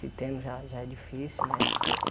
Se tem, já já é difícil, né?